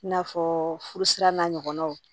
I n'a fɔ furusira n'a ɲɔgɔnnaw